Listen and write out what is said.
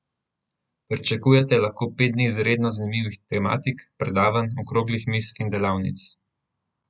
Pričakuje lahko pet dni izredno zanimivih tematik, predavanj, okroglih miz in delavnic.